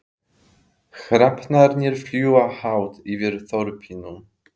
Hrafnarnir fljúga hátt yfir þorpinu.